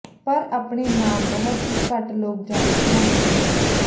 ਪਰ ਆਪਣੇ ਨਾਮ ਬਹੁਤ ਹੀ ਘੱਟ ਲੋਕ ਜਾਣਦੇ ਹਨ ਹਨ